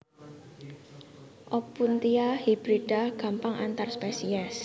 Opuntia hibrida gampang antar spesies